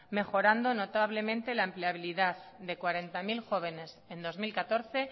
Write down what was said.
mejorando notablemente la empleabilidad de cuarenta mil jóvenes en dos mil catorce